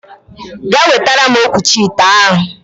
Gaa wetara m okwuchi ite a!